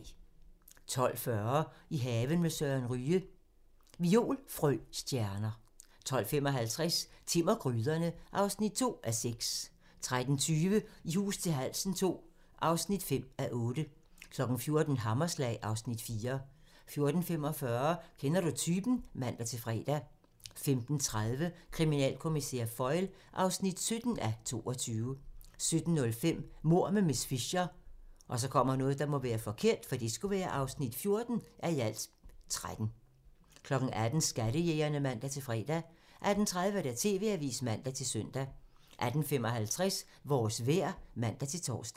12:40: I haven med Søren Ryge: Violfrøstjerner 12:55: Timm og gryderne (2:6) 13:20: I hus til halsen II (5:8) 14:00: Hammerslag (Afs. 4) 14:45: Kender du typen? (man-fre) 15:30: Kriminalkommissær Foyle (17:22) 17:05: Mord med miss Fisher (14:13) 18:00: Skattejægerne (man-fre) 18:30: TV-avisen (man-søn) 18:55: Vores vejr (man-tor)